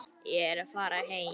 Ég er að fara heim.